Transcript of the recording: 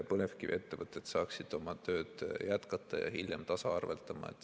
Põlevkiviettevõtted saaksid oma tööd jätkata ja hiljem tasaarveldada.